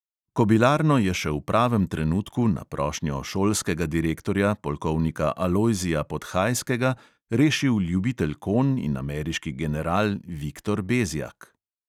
Kobilarno je še v pravem trenutku na prošnjo šolskega direktorja polkovnika alojzija podhajskega rešil ljubitelj konj in ameriški general viktor bezjak.